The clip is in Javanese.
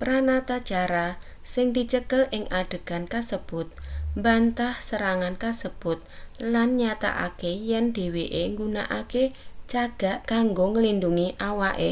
pranatacara sing dicekel ing adegan kasebut mbantah serangan kasebut lan nyatakake yen dheweke nggunakake cagak kanggo nglindhungi awake